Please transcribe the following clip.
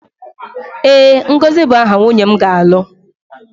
ee, ngozi bụ aha nwunye m ga-abụ.